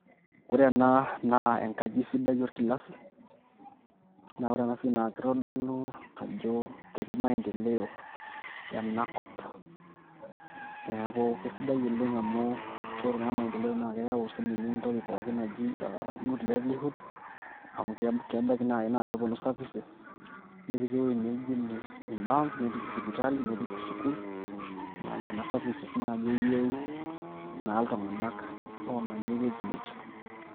ore ena naa enkaji sidai orkilasi, naa ore ena siai naa kitodolu ajo ketii maendeleo ena kop, neeku kisidai oleng' amu ore naa maendeleo naa keyau sii ninye entoki pookin naji good livelyhood amu kebaiki naaji naa kepuonu services, nepiki ewueji naijo ine banks nepiki sipitali, nepiki sukuul, enaa services naaji eyiueu iltung'anak oomanya aewueji neje.